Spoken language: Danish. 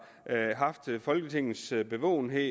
haft folketingets bevågenhed